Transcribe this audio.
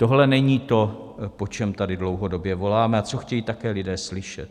Tohle není to, po čem tady dlouhodobě voláme a co chtějí také lidé slyšet.